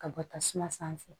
Ka bɔ tasuma sanfɛ